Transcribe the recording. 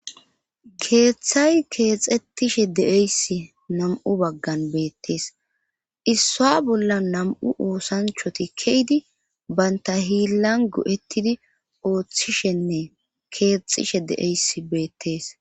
keeththay keexxetishe deeyssi nam7u baggan beettees issa bolla nam7u oosanchoti keydi baynta hiillan go7ettidi ooththishenne keexxishe de7eys beettees